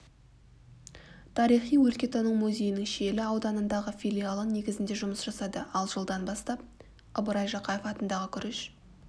тарихи-өлкетану музейінің шиелі ауданындағы филиалы негізінде жұмыс жасады ал жылдан бастап ыбырай жақаев атындағы күріш